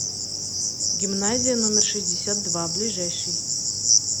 гимназия номер шестьдесят два ближайший